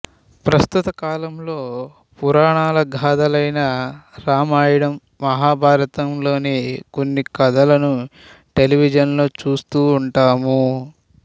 ప్రస్తుత కాలంలో పురాణ గాథలైన రామాయణం మహాభారతం లోని కొన్ని కథలను టెలివిజన్ లో చూస్తూ ఉంటాము